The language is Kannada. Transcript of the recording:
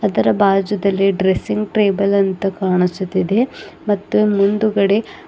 ಇದರ ಬಾಜುದಲ್ಲಿ ಡ್ರೆಸ್ಸಿಂಗ್ ಟೇಬಲ್ ಅಂತ ಕಾಣಿಸುತ್ತಿದೆ ಮತ್ತು ಮುಂದ್ಗಡೆ--